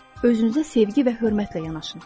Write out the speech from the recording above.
Özünüzə sevgi və hörmətlə yanaşın.